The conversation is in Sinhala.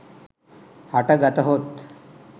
හට ගතහොත්